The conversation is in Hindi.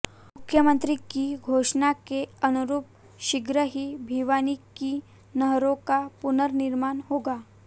मुख्यमंत्री की घोषणा के अनुरूप शीघ्र ही भिवानी की नहरों का पुर्ननिर्माण होगा